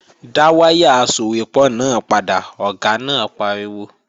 Dá wáyà asòwépọ̀ náà padà, Ọ̀gá náà pariwo!